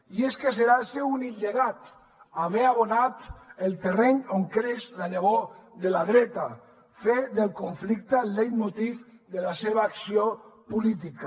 i és que serà el seu únic llegat haver abonat el terreny on creix la llavor de la dreta fer del conflicte el leitmotiv de la seva acció política